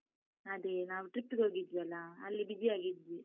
ಅದೇ, ನಾವು trip ಹೋಗಿದ್ವಲ್ಲ? ಅಲ್ಲಿ busy ಯಾಗಿದ್ವಿ.